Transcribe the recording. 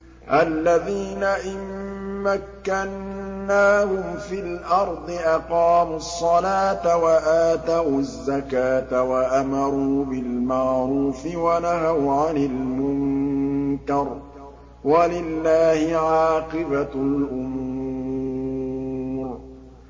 الَّذِينَ إِن مَّكَّنَّاهُمْ فِي الْأَرْضِ أَقَامُوا الصَّلَاةَ وَآتَوُا الزَّكَاةَ وَأَمَرُوا بِالْمَعْرُوفِ وَنَهَوْا عَنِ الْمُنكَرِ ۗ وَلِلَّهِ عَاقِبَةُ الْأُمُورِ